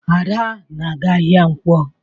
Ada na-aga ahịa Nkwo.